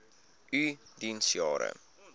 u diens jare